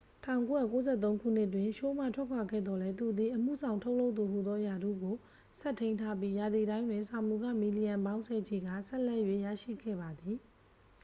1993 ခုနှစ်တွင် ရှိုးမှထွက်ခွာခဲ့သော်လည်း သူသည် အမှုဆောင်ထုတ်လုပ်သူဟူသောရာထူးကို ဆက်ထိန်းထားပြီး ရာသီတိုင်းတွင် စာမူခ မီလီယံပေါင်းဆယ်ချီကာ ဆက်လက်၍ ရရှိခဲ့ပါသည်